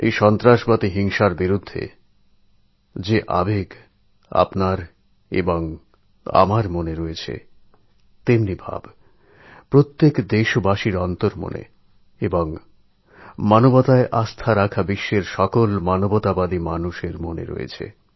এই সন্ত্রাসের বিরুদ্ধে যে আবেগ আমার মনে জাগছে সেই আবেগ প্রত্যেক দেশবাসীর অন্তরে আছে এবং মানবতায় বিশ্বাস করেন যাঁরা সারা বিশ্বে মানবতাবাদী মানুষের মধ্যেও আছে